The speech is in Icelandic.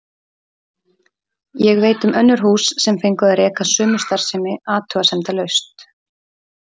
Ég veit um önnur hús sem fengu að reka sömu starfsemi athugasemdalaust.